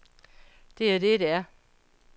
Det er det, det er.